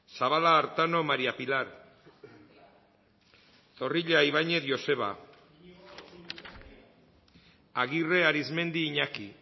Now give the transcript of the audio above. zabala artano maría pilar zorrilla ibañez joseba agirre arizmendi iñaki